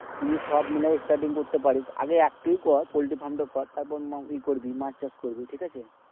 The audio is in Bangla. তুই যদি সব মিলাই starting করতে পাড়িস। আগে একটাই কর পল্টি ফার্মটা কর তারপর ইয়ে করবি মাছ চাষ করবি ঠিক অছে